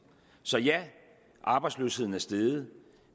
så ja arbejdsløsheden er steget